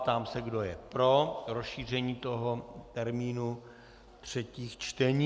Ptám se, kdo je pro rozšíření toho termínu třetích čtení.